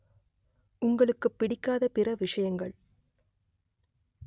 உங்களுக்குப் பிடிக்காத பிற விஷயங்கள்